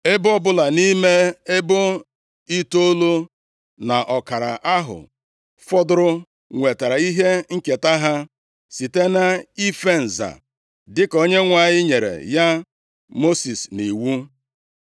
Ebo ọbụla nʼime ebo itoolu na ọkara ahụ fọdụrụ nwetara ihe nketa ha site nʼife nza, dịka Onyenwe anyị nyere ya Mosis nʼiwu.